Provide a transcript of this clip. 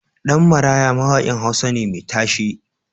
Dan Maraya is a popular Hausa musician.